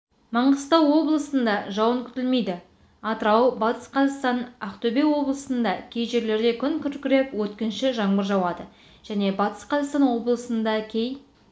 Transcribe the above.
маңғыстау облысында жауын күтілмейді атырау батыс қзақастан ақтөбе облысында кей жерлерде күн күркіреп өткінші жаңбыр жауады және батыс қзақастан облысында кей